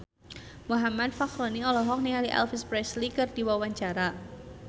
Muhammad Fachroni olohok ningali Elvis Presley keur diwawancara